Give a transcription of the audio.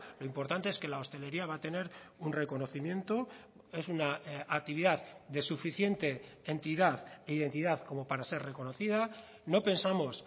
lo importante es que la hostelería va a tener un reconocimiento es una actividad de suficiente entidad e identidad como para ser reconocida no pensamos